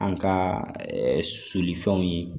An ka soli fɛnw ye